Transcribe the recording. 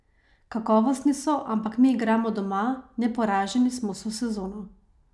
Kakovostni so, ampak mi igramo doma, neporaženi smo vso sezono.